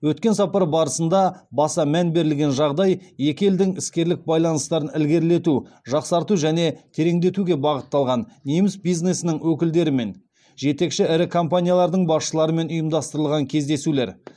өткен сапар барысында баса мән берілген жағдай екі елдің іскерлік байланыстарын ілгерлету жақсарту және тереңдетуге бағытталған неміс бизнесінің өкілдерімен жетекші ірі компаниялардың басшыларымен ұйымдастырылған кездесулер